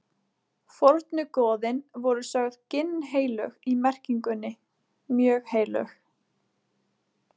Fornu goðin voru sögð ginnheilög í merkingunni mjög heilög.